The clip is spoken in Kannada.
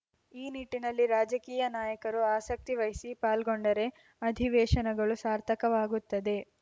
ಈ ನಿಟ್ಟಿನಲ್ಲಿ ರಾಜಕೀಯ ನಾಯಕರು ಆಸಕ್ತಿ ವಹಿಸಿ ಪಾಲ್ಗೊಂಡರೆ ಅಧೀವೇಶನಗಳು ಸಾರ್ಥಕವಾಗುತ್ತದೆ